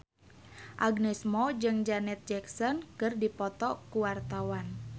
Agnes Mo jeung Janet Jackson keur dipoto ku wartawan